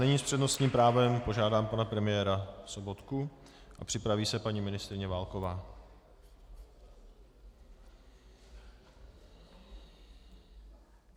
Nyní s přednostním právem požádám pana premiéra Sobotku a připraví se paní ministryně Válková.